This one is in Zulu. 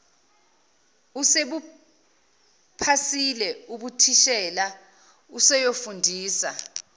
usebuphasile ubuthishela useyofundisa